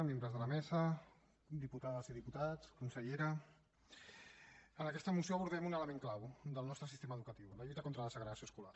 membres de la mesa diputades i diputats consellera en aquesta moció abordem un element clau del nostre sistema educatiu la lluita contra la segregació escolar